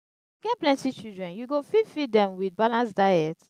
if you get plenty children you go fit feed dem wit balanced diet?